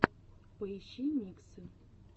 поищи миксы